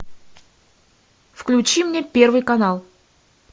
включи мне первый канал